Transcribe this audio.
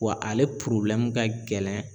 Wa ale ka gɛlɛn